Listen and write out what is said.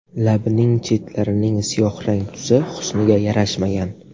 Labining chetlarining siyohrang tusi husniga yarashmagan.